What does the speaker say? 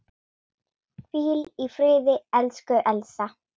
Hvíl í friði, elsku Elsa.